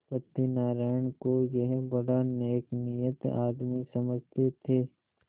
सत्यनाराण को यह बड़ा नेकनीयत आदमी समझते थे